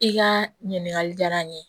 I ka ɲininkali diyara n ye